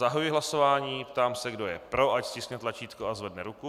Zahajuji hlasování, ptám se, kdo je pro, ať stiskne tlačítko a zvedne ruku.